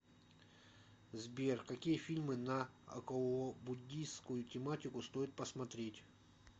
сбер какие фильм на околобуддийскую тематику стоит посмотреть